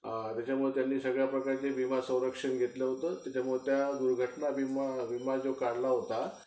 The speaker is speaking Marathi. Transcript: त्याच्यामुळं त्यांनी सगळ्या प्रकारचं विमा संरक्षण घेतलं होतं. त्याच्यामुळं तो दुर्घटना विमा जो काढला होता